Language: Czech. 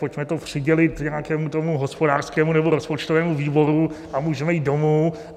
Pojďme to přidělit nějakému tomu hospodářskému nebo rozpočtovému výboru a můžeme jít domů.